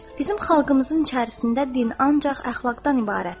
Bizim xalqımızın içərisində din ancaq əxlaqdan ibarətdir.